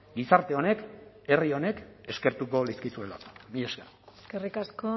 gizarte honek herri honek eskertuko lizkizuelako mila esker eskerrik asko